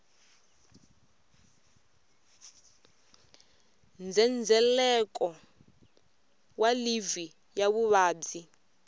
ndzhendzheleko wa livhi ya vuvabyi